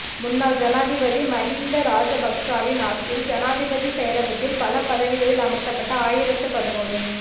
முன்னாள் ஜனாதிபதி மகிந்த ராஜபக்சவின் ஆட்சியில் ஜனாதிபதி செயலகத்தில் பல பதவிகளில் அமர்த்தப்பட்ட ஆயிரத்து பதினொரு